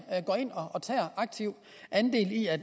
går ind og tager aktivt andel i at